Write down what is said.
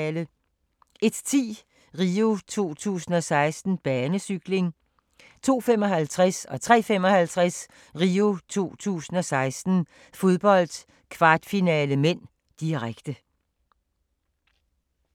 01:10: RIO 2016: Banecykling 02:55: RIO 2016: Fodbold - kvartfinale (m), direkte 03:55: RIO 2016: Fodbold - kvartfinale (m), direkte